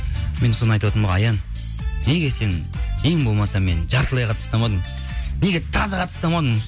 мен соны айтыватырмын ғой аян неге сен ең болмаса мені жартылай қылып тастамадың неге таза қатты ұстамадың